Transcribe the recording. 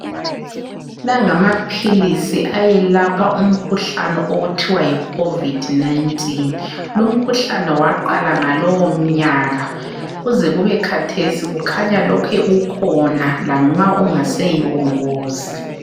Lawa ngamaphilisi ayelapha umkhuhlane okuthiwa yi COVID 19. Lumkhuhlane waqala ngalowomnyaka, kuze kube khathesi khanya lokhe ukhona lanxa ungaseyiwo ngozi.